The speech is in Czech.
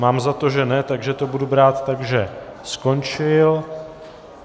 Mám za to, že ne, takže to budu brát tak, že skončil.